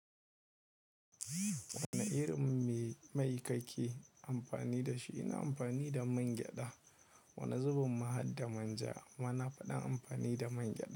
Wane irin mai mai ka ke amfani da shi? Ina amfani da man gyada. Wane zubin mahadda manja? Amma nafi ɗan amfani da man gyada.